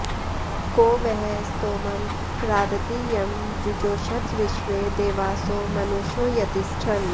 को वः स्तोमं राधति यं जुजोषथ विश्वे देवासो मनुषो यति ष्ठन